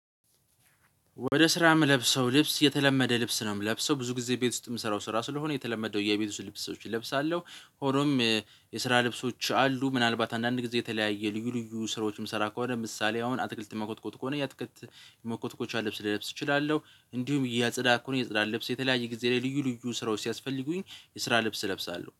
ወደ ስራ የምለብሰው ልብስ የተለመደ ልብስ ነው የምለብሰው ብዙ ጊዜ ቤት ውስጥ የምሰራው ስራ ስለሆነ የተለመደው የቤት ውስጥ ልብሶችን እለብሳለሁ። ሆኖም የስራ ልብሶች አሉ ምናልባት አንዳንድ ጊዜ የተለያየ ልዩ ልዩ ስራዎችም ስራ ከሆነ ምሳሌ አሁን አትክልት መኮትኮት ከሆነ የአትክልት መኮትኮቻ ልብስ ልለብስ እችላለሁ። እንዲሁም የጽዳት ከሆነ የጽዳት ልብስ የተለያየ ጊዜ ላይ ልዩ ልዩ ስራዎች ሲያስፈልጉኝ የስራ ልብስ እለብሳለሁ